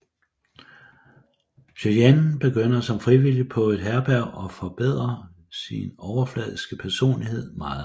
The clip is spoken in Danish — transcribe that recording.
Cheyenne begynder som frivillig på et herberg og forbedrer sin overfladiske personlighed meget